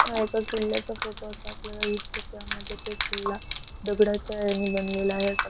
हा एका किल्ल्याचा फोटो अस आपल्याला दिसतो त्यामध्ये एक किल्ला दगडाच्या ह्यानी बनलेला आहेअसा.